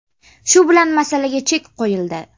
Shu bilan masalaga chek qo‘yildi.